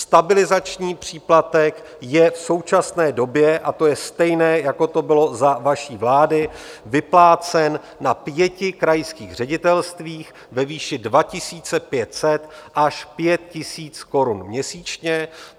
Stabilizační příplatek je v současné době, a to je stejné, jako to bylo za vaší vlády, vyplácen na pěti krajských ředitelstvích ve výši 2 500 až 5 000 korun měsíčně.